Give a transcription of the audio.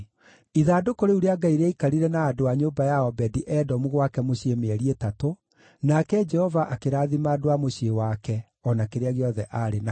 Ithandũkũ rĩu rĩa Ngai rĩaikarire na andũ a nyũmba ya Obedi-Edomu gwake mũciĩ mĩeri ĩtatũ, nake Jehova akĩrathima andũ a mũciĩ wake, o na kĩrĩa gĩothe aarĩ nakĩo.